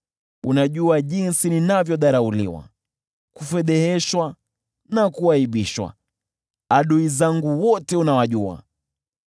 Unajua jinsi ninavyodharauliwa, kufedheheshwa na kuaibishwa, adui zangu wote unawajua.